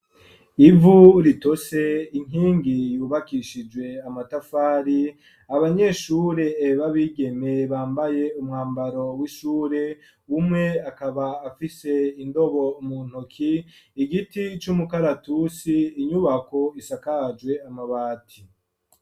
Ivu ritose, inkingi yubakishijwe amatafari, abanyeshure ba bigeme bambaye umwambaro w'ishure umwe akaba afise indobo mu ntoki igiti c'umukaratusi inyubako isakajwe amabati.